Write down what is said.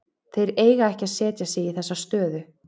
Þeir eiga ekki að setja sig í þessa stöðu.